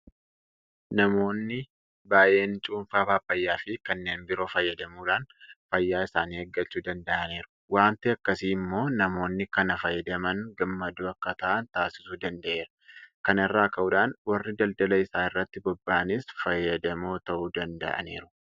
Namoonni baay'een Cuunfaa Paappaayyaafi kanneen biroo fayyadamuudhaan fayyaa isaanii eeggachuu danda'aniiru. Waanti akkasii immoo namoonni kana fayyadaman gammadoo akka ta'an taasisuu danda'eera. Kana irraa ka'uudhaan warri daldala isaa irratti bobba'anis fayyadamoo ta'uu danda'aniiru.